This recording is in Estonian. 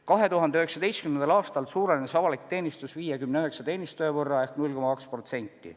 2019. aastal suurenes avaliku teenistuse personal 59 teenistuja võrra ehk 0,2%.